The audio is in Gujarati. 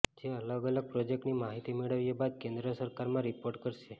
જે અલગ અલગ પ્રોજેક્ટની માહિતી મેળવ્યા બાદ કેન્દ્ર સરકારમાં રિપોર્ટ કરશે